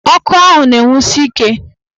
Ọkụ ahụ na-enwusi ike.